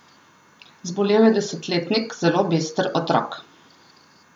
Zbolel je desetletnik, zelo bister otrok.